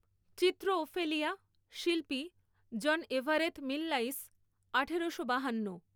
চিত্র ওফেলিয়া শিল্পী John Everett Millais আঠেরশো বাহান্ন।